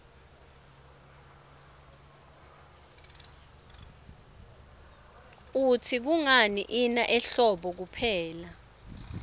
ngluitsi kungani ina ehlobo kuphela